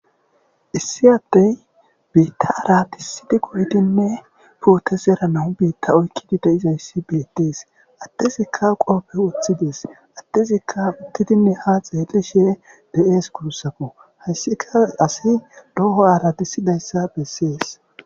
issi ade biitta aaratisidi goydinne pootezera nawu biitta oykkidi deizayssi beettees adezikka qooppe woththides adezikka uttidinne ha xeelishe de7ees kurussako hayssika asi loho ara disidayssa bessees